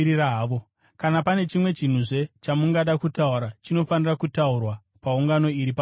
Kana pane chimwe chinhuzve chamungada kutaura, chinofanira kutaurwa paungano iri pamutemo.